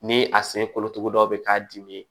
Ni a sen kolotugudaw bɛ k'a dimi